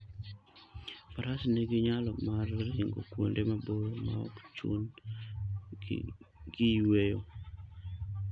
Faras nigi nyalo mar ringo kuonde maboyo maok chun - gi gi yueyo.